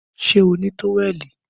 Ṣé o ní táwẹ̀lì?